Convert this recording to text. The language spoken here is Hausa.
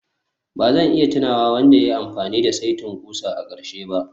Ba zan iya tunawa wanda ya yi amfani da saitin ƙusa a ƙarshe ba